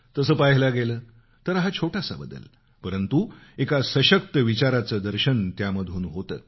तसं पहायला गेलं तर हा छोटासा बदल परंतु एका सशक्त विचाराचं दर्शन त्यामधून होतं